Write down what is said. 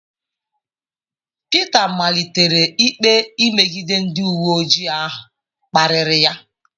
Pita malitere ikpe imegide ndị uwe ojii ahụ kparịrị ya.